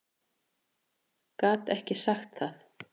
Gat ekki sagt það.